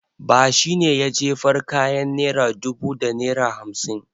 Ba shi ne ya jefar kayan naira dubu da naira hamsin.